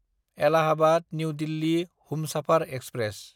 Allahabad New Delhi Humsafar express